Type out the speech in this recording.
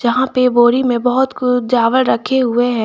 जहां पे बोरी में बहोत कुछ चावल रखे हुए हैं।